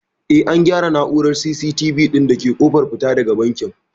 Eh an gyara na'urar C.CT.V ɗin da ke ƙofar fita daga bankin